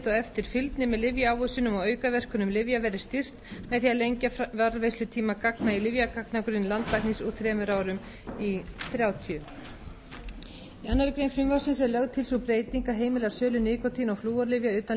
eftirfylgni með lyfjaávísunum og aukaverkunum lyfja verði styrkt með því að lengja varðveislutíma gagna í lyfjagagnagrunni landlæknis úr þremur árum í þrjátíu í annarri grein frumvarpsins er lögð til sú breyting að heimila sölu nikótín og flúorlyfja utan